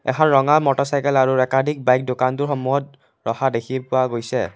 এখন ৰঙা মটৰচাইকেল আৰু একাধিক বাইক দোকানটোৰ সন্মুখত ৰখা দেখি পোৱা গৈছে।